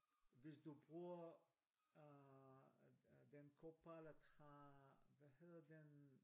Hvis du bruger øh den Copilot har hvad hedder den?